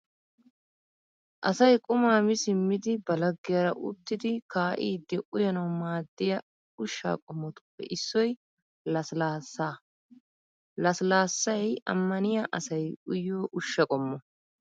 Asay quma mi simmidi ba laggiyaara uttidi kaa'iiddi uyanawu maadiya ushsha qommoppe issoy lasillaassaa. Lasillaassay ammaniya asay uyiyo ushsha qommo.